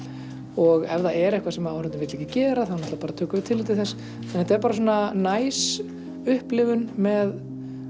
og ef það er eitthvað sem áhorfandinn vill ekki gera tökum við tillit til þess þetta er næs upplifun með